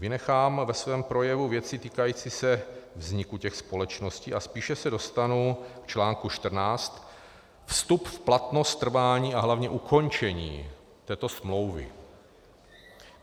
Vynechám ve svém projevu věci týkající se vzniku těch společností a spíše se dostanu k článku 14, vstup v platnost, trvání a hlavně ukončení této smlouvy.